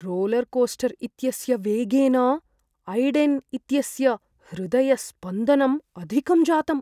Roller coaster इत्यस्य वेगेन Aiden इत्यस्य हृदयस्पन्दनम् अधिकं जातम्।